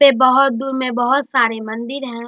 पे बहोत दूर में बहोत सारे मंदिर हैं।